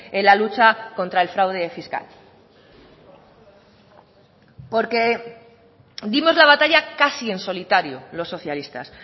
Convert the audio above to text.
en la lucha contra el fraude fiscal porque dimos la batalla casi en solitario los socialistas